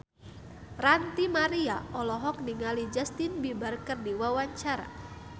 Ranty Maria olohok ningali Justin Beiber keur diwawancara